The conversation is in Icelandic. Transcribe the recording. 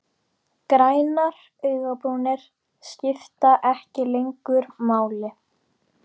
Grænar augnabrúnir skipta ekki lengur máli.